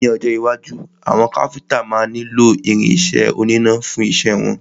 Ní ọjọ́ iwájú, àwọn Káfíntà máa nílo irin isẹ́ oníná fún isẹ́ wọn.